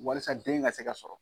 Walasa den ka se ka se ka sɔrɔ.